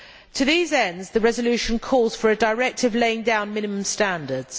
To these ends, the resolution calls for a directive laying down minimum standards.